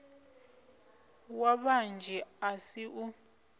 wa vhanzhi a si u